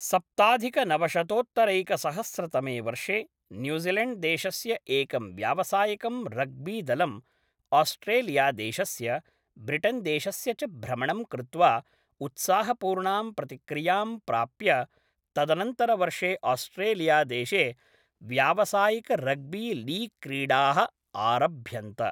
सप्ताधिकनवशतोत्तरैकसहस्रतमे वर्षे न्यूजीलैण्ड्देशस्य एकं व्यावसायिकं रग्बीदलम् आस्ट्रेलियादेशस्य, ब्रिटन्देशस्य च भ्रमणं कृत्वा उत्साहपूर्णां प्रतिक्रियां प्राप्य, तदनन्तरवर्षे आस्ट्रेलियादेशे व्यावसायिकरग्बीलीग् क्रीडाः आरभ्यन्त।